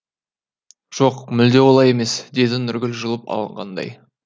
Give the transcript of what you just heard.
жоқ мүлде олай емес деді нұргүл жұлып алғандай